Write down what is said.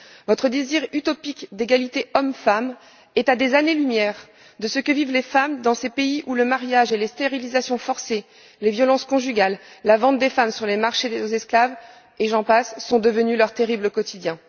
Notre désir utopique d'égalité homme femme est à des années lumière de ce que vivent les femmes dans ces pays où le mariage et les stérilisations forcées, les violences conjugales, la vente des femmes sur les marchés aux esclaves, et j'en passe, sont devenus leur terrible quotidien.